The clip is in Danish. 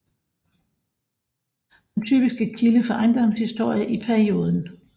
Den typiske kilde for ejendomshistorie i perioden